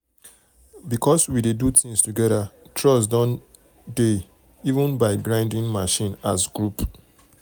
um because we dey do things together trust don dey trust don dey um — we even buy grinding um machine as group.